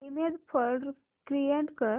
image folder create कर